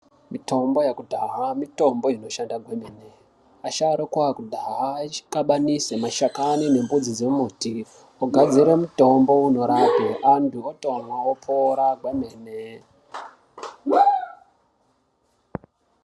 Mitombo yekudhaya, mitombo inoshanda kwemene. Asharuka ekudhaya achiqabanisa mashakanyi nemidzi dzembuti ogadzire mutombo unorapa, anthu otomwa, opora kwemene.